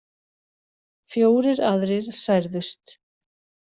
Fjórir aðrir særðust